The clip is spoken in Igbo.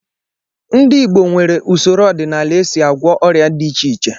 Ndị Igbo nwere usoro ọdịnala e si agwọ ọrịa dị iche iche